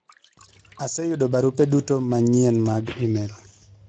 aseyudo barupe duto manyien mag email